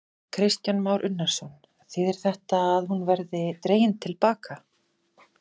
Kristján Már Unnarsson: Þýðir þetta að hún verði dregin til baka?